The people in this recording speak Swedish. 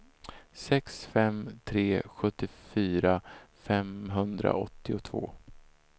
sex fem sex tre sjuttiofyra femhundraåttiotvå